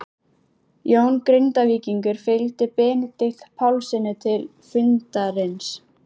Jón Grindvíkingur fylgdi Benedikt Pálssyni til fundarins.